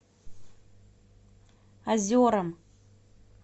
озерам